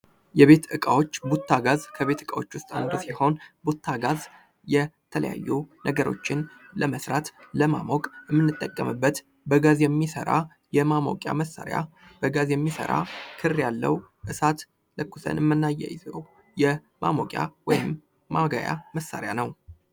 የቤት ዕቃዎች ዲዛይን እንደየቤቱ አቀማመጥና እንደየግለሰቡ ምርጫ የሚለያይ ሲሆን ዘመናዊና ባህላዊ ቅጦች በብዛት ይታያሉ።